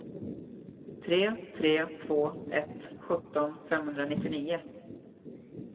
tre tre två ett sjutton femhundranittionio